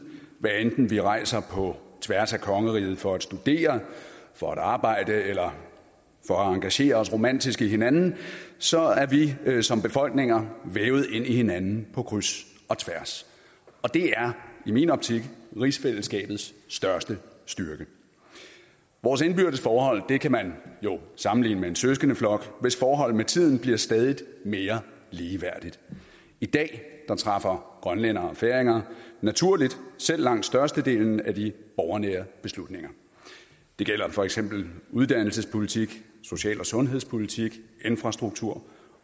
hvad enten vi rejser på tværs af kongeriget for at studere for at arbejde eller for at engagere os romantisk i hinanden så er vi som befolkninger vævet ind i hinanden på kryds og tværs og det er i min optik rigsfællesskabets største styrke vores indbyrdes forhold kan man jo sammenligne med en søskendeflok hvis forhold med tiden bliver stadig mere ligeværdigt i dag træffer grønlændere og færinger naturligt selv langt størstedelen af de borgernære beslutninger det gælder for eksempel uddannelsespolitik social og sundhedspolitik infrastruktur